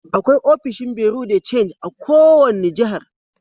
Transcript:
Akwai ofishin bureau de change a' kowani jihar.